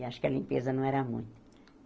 E acho que a limpeza não era muita.